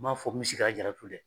M'a fɔ misikaljaaratu dɛ